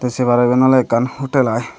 sebareben oley ekkan hotel aai.